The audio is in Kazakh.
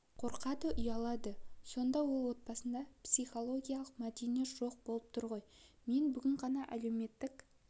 қорқады ұялады сонда ол отбасында психологиялық мәдениет жоқ болып тұр ғой мен бүгін ғана әлеуметтік